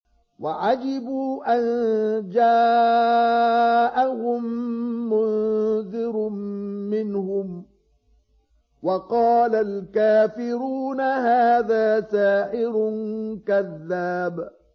وَعَجِبُوا أَن جَاءَهُم مُّنذِرٌ مِّنْهُمْ ۖ وَقَالَ الْكَافِرُونَ هَٰذَا سَاحِرٌ كَذَّابٌ